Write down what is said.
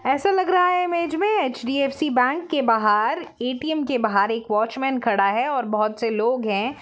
ऐसा लग रहा है इस इमेज में एच.डी.ऍफ़.सी बेंक के बाहर ऐ.टी.म के बहार एक वॉचमैन खड़ा है और बहुत से लोग है।